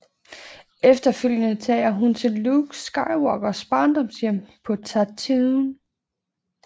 Efterfølgende tager hun til Luke Skywalkers barndomshjem på Tatooine